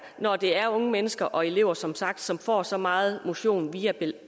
når det er unge mennesker og elever som sagt som får så meget motion via